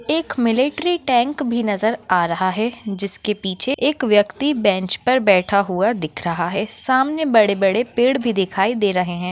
एक military tank भी नजर आ रहा है जिसके पीछे एक व्यक्ति बेंच पर बैठा हुआ दिख रहा है सामने बड़े बड़े पेड़ भी दिखाई दे रहे है।